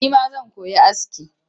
Nima zan koyi aski